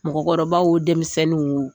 Mɔgɔkɔrɔbaw wo denmisɛnninw wo